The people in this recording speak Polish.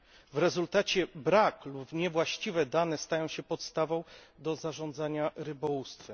W rezultacie brak danych lub niewłaściwe dane stają się podstawą do zarządzania rybołówstwem.